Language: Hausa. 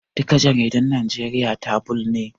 Duka jaridun Najeriya tabulod ne